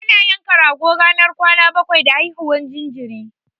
Ana yanka rago ranar kwana bakwai da haihuwar jinjiri.